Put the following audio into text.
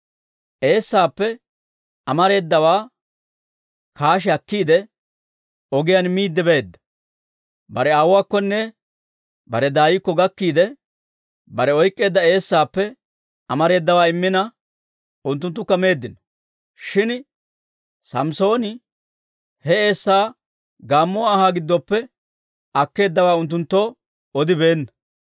Eessaappe amareedawaa kaashi akkiide, ogiyaan miidde beedda. Bare aawuwaakkonne bare daaykko gakkiide, bare oyk'k'eedda eessaappe amareedawaa immina, unttunttukka meeddino; shin Samssooni he eessaa gaammuwaa anhaa giddoppe akkeeddawaa unttunttoo odibeenna.